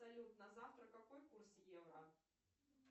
салют на завтра какой курс евро